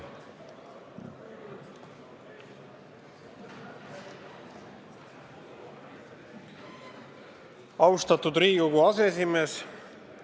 Austatud Riigikogu aseesimees!